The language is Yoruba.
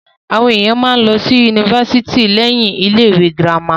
Àwọn èèyàn máa ń lọ sí ifásitì lẹ́yìn ilé ìwé girama